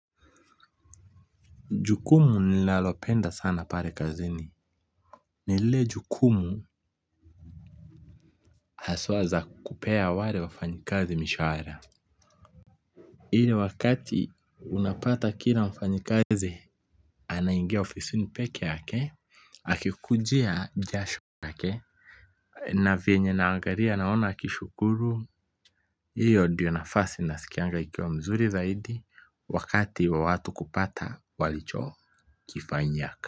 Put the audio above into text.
Jukumu ninalopenda sana pale kazini ni lile jukumu haswa za kupea wale wafanyikazi mishahara ile wakati unapata kila mfanyikazi anaingia ofisini peke yake akikujia jasho lake na vyenye anaangalia naona akishukuru hiyo ndiyo nafasi nasikianga ikiwa mzuri zaidi wakati wa watu kupata walichokifanyia.